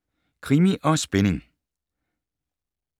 Krimi & spænding